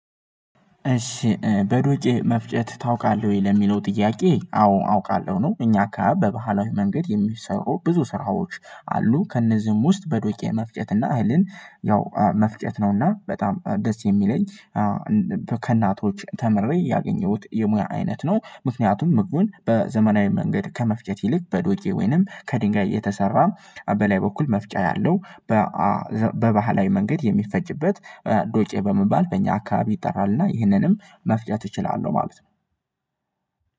እሺ በዱቄ መፍጨት ታውቃለህ ወይ? ለሚለው ጥያቄ አዎ አውቃለሁ ነው እኛ አካባቢ በባህላዊ መንገድ የሚሰሩ ብዙ ስራዎች አሉ ከእነዚህም ውስጥ በዶቄ መፍጨት እና እህልን ያው መፍጨት ነውና በጣም ደስ የሚለኝ ከእናቶች ተምሬ ያገኘሁት የሙያ አይነት ነው፣ ምክንያቱም ምግቡን በዘመናዊ መንገድ ከመፍጨት ይልቅ በዶቄ ወይንም ከድንጋይ የተሰራ በላይ በኩል መፍጫ ያለው በባህላዊ መንገድ የሚፈጭበት ዶቄ በመባል በእኛ አካባቢ ይጠራልና ይህንንም መፍጨት እችላለሁ ማለት ነው።